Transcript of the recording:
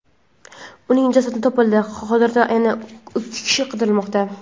Uning jasadi topildi, hozirda yana ikki kishi qidirilmoqda.